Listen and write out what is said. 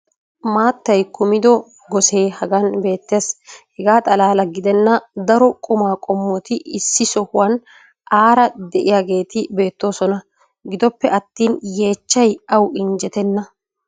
maattay kummido gosee hagan beetes. hegaa xalaala gidenna daro qumaa qqommoti issi sohuwan aara diyageeti beetososna. gidoppe attin yeechchay awu injjetenna.